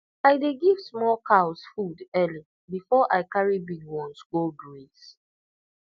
i dey give small cows food early before i carry big ones go graze